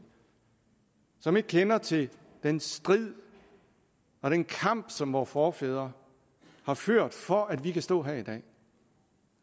som ikke kender til den strid og den kamp som vore forfædre har ført for at vi kan stå her i dag